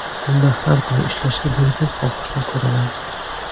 Unda har kuni ishlashga bo‘lgan xohishni ko‘raman.